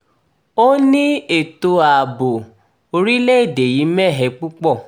ó ní ètò-ààbò orílẹ̀‐èdè yìí mẹ́hẹ púpọ̀